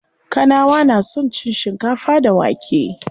Kanawa na son cin shikafa da wake.